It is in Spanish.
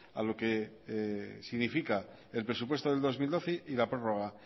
a lo que significa el presupuesto del dos mil doce y la prorroga